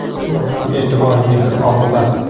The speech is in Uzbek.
Bu ham e’tibor, mehr-oqibat.